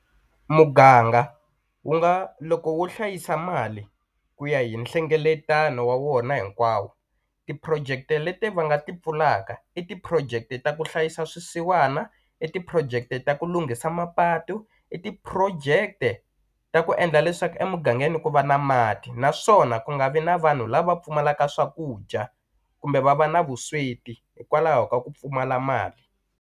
Muganga wu nga loko wo hlayisa mali ku ya hi nhlengeletano wa wona hinkwawo ti-project-e leti va nga ti pfulaka i ti-project-e ta ku hlayisa swisiwana i ti-project-e ta ya ku lunghisa mapatu i ti-project-e ta ku endla leswaku emugangeni ku va na mati naswona ku nga vi na vanhu lava pfumalaka swakudya kumbe va va na vusweti hikwalaho ka ku pfumala mali.